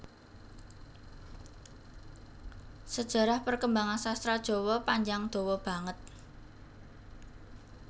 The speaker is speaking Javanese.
Sajarah perkembangan sastra jawa panjang dawa banget